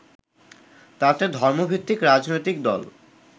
তাতে ধর্মভিত্তিক রাজনৈতিক দল